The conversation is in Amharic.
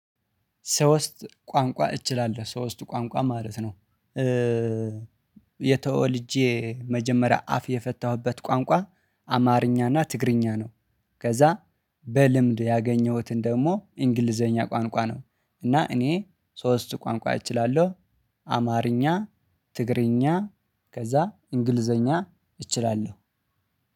ሶስት ቋንቋ እችላለው ሶስት ቋንቋ ማለት ነው። የተወልጄ መጀመሪያ አፍ የፈታሁበት ቋንቋ አማርኛና ትግርኛ ነው። ከዛ በልምድ ያገኘሁትን ደግሞ እንግሊዘኛ ቋንቋ ነው እና እኔ ሶስት ቋንቋ እችላለው። አማርኛ ትግርኛ ከዛ አንግሊዘኛ እችላለው።